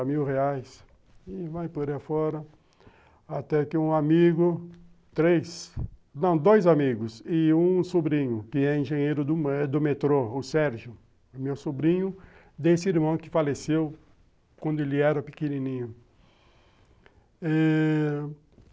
mil reais, e vai por aí afora, até que um amigo, três, não, dois amigos, e um sobrinho, que é engenheiro do metrô, o Sérgio, meu sobrinho, desse irmão que faleceu quando ele era pequenininho. Eh...